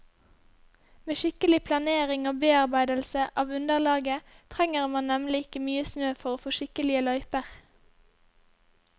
Med skikkelig planering og bearbeidelse av underlaget trenger man nemlig ikke mye snø for å få skikkelige løyper.